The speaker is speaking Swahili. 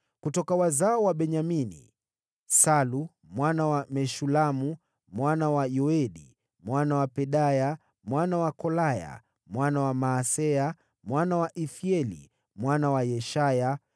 Kutoka wazao wa Benyamini: Salu mwana wa Meshulamu, mwana wa Yoedi, mwana wa Pedaya, mwana wa Kolaya, mwana wa Maaseya, mwana wa Ithieli, mwana wa Yeshaya